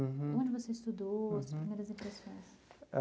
Uhum. Onde você estudou, as primeiras impressões?